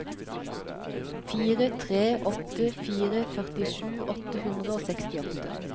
fire tre åtte fire førtisju åtte hundre og sekstiåtte